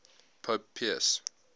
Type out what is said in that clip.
pope pius